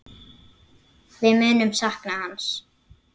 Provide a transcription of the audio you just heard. Við munum sakna hans.